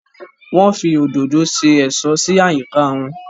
Wọ́n fi òdòdó se ẹ̀ṣọ́ sí àyíká wọn